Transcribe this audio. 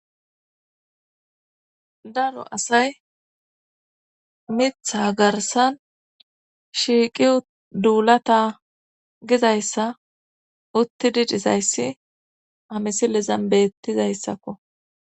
daro asay mitha garsan shiiqi duulata gizayssa uttidi dizayssi hamisilen bettizayssakko